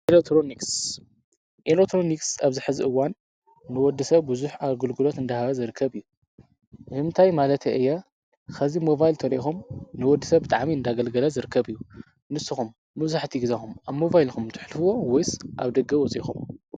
ኤሌትሮኒክስ ኣብዚ ሒዚ እዋን ንወዲሰብ ብዙሕ ኣገልግሎት እናሃበ ዝርከብ። እንታይ ማለተይ እየ ሕዚ ሞባይል እንተሪኢኩም ንወዲሰብ ብጣዕሚ እናኣገልገለ ዝርከብ እዩ። ንስኩም መብዛሕቲኡ ግዜኩም ኣብ ሞባይል ዲኩም ተሕልፍዎም ወይስ ኣብ ደገ ወፅይኩም?